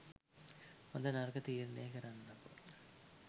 හොද නරක තීරනය කරන්නකෝ.